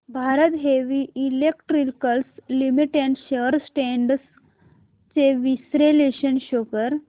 Bharat heavy electricals limited shares trends चे विश्लेषण show कर